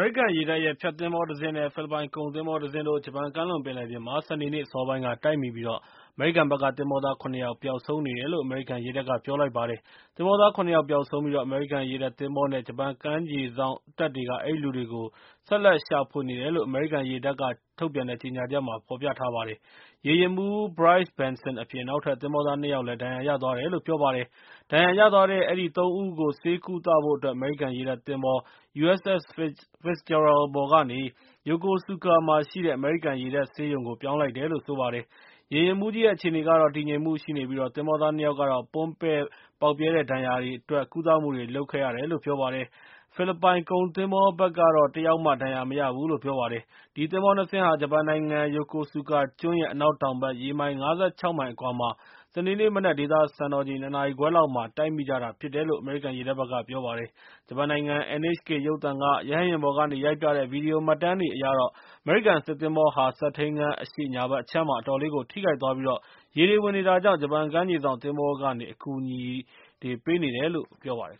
ရိကန်ရေတပ်ရဲ့ ဖျက်သင်္ဘောတစ်စင်း နဲ့ ဖိလစ်ပိုင်ကုန်သင်္ဘောတစင်းတို့ ဂျပန်ကမ်းလွန်ပင်လယ်ပြင်မှာ စနေနေ့ အစောပိုင်းက တိုက်မိပြီး၊ အမေရိကန်ဘက်က သင်္ဘောသား ၇ ယောက်ပျောက်ဆုံးနေတယ်လို့ အမေရိကန်ရေတပ်က ပြောလိုက်ပါတယ်။ သင်္ဘောသား ၇ ယောက်ပျောက်ဆုံးပြီး၊ အမေရိကန်ရေတပ်သင်္ဘောနဲ့ ဂျပန်ကမ်းခြေစောင့်တပ်တွေက အဲဒီလူတွေကို ဆက်လက်ရှာဖွေနေတယ်လို့ အမေရိကန်ရေတပ်က ထုတ်ပြန်တဲ့ကြေငြာချက်ထဲမှာ ပြောထားပါတယ်။ ရေယာဉ်မှူး Bryce Benson အပြင် နောက်ထပ် သင်္ဘောသား ၂ ယောက်လည်း ဒဏ်ရာရသွားတယ်လို့ ပြောပါတယ်။ ဒဏ်ရာရသွားတဲ့ အဲဒီ ၃ ဦးကို ဆေးကုသဖို့အတွက် အမေရိကန်ရေတပ်သင်္ဘော USS Fitzgerald ပေါ်ကနေ Yokosuka မှာရှိတဲ့ အမေရိကန်ရေတပ်ဆေးရုံ ပြောင်းလိုက်တယ်လို့ ပြောပါတယ်။ ရေယာဉ်မှူးကြီးရဲ့ အခြေအနေကတော့ တည်ငြိမ်မှုရှိပြီး၊ သင်္ဘောသား ၂ ယောက်ကတော့ ပွန်းပဲ့ဒဏ်ရာတွေရခဲ့တဲ့အတွက် ကုသမတွေလုပ်ခဲ့ရတယ်လို့ ပြောပါတယ်။ ဖိလစ်ပိုင်ကုန်သင်္ဘောဘက်ကတော့ - တစ်ယောက်မှာ ဒဏ်ရာမရဘူးလို့ ပြောပါတယ်။ ဒီသင်္ဘော ၂ စင်းဟာ ဂျပန်နိုင်ငံ ယိုကိုဆူကာကျွန်းရဲ့ အနောက်တောင်ဘက် ရေမိုင် ၅၆ မိုင်အကွာမှာ စနေနေ့မနက် ဒေသစံတော်ချိန် ၂ နာရီခွဲလောက်မှာ တိုက်မိကြတာဖြစ်တယ်လို့ အမေရိကန်ရေတပ်ဘက်က ပြောပါတယ်။ ဂျပန်နိုင်ငံ NHK ရုပ်သံက ရဟတ်ယာဉ်ပေါ်ကနေ ရိုက်ပြတဲ့ ဗီဒီယိုမှတ်တမ်းတွေအရတော့ - အမေရိကန်စစ်သင်္ဘောဟာ စက်ထိန်းခန်းအရှေ့ ညာဘက်အခြမ်းမှာ အတော်လေးကို ထိခိုက်သွားပြီး၊ ရေတွေဝင်နေတာကြောင့် ဂျပန်ကမ်းခြေစောင့် သင်္ဘောကနေ အကူအညီပေးနေတယ်လို့ ပြောပါတယ်